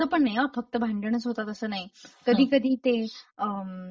असं पण नाही हा फक्त भांडणच होतात असं तसं नाही कधी कधी ते अ...